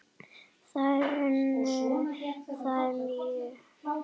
Þær unnu þér mjög.